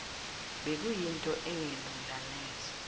bekuyinto engelula neze